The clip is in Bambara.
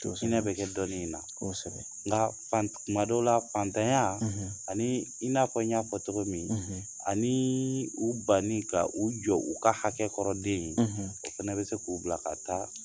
To sonyɛn bɛ kɛ dɔɔni nina; Kossbs; Nka kuma dɔ la fatanya; ; ani i n'a fɔ n y'a fɔ togo min; , aniii u banni ka u jɔ u ka hakɛ kɔrɔ den ye ;, o fɛnɛ bɛ se k'u bila ka taa